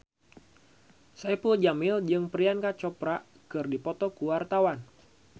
Saipul Jamil jeung Priyanka Chopra keur dipoto ku wartawan